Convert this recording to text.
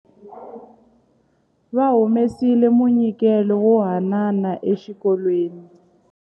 Va humesile munyikelo wo haanana exikolweni.